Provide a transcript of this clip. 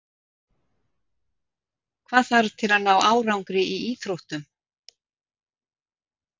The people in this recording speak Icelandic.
Hvað þarf til að ná árangri í íþróttum?